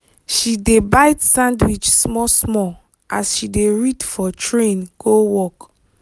she dey bite sandwich small small as she dey read for train go work.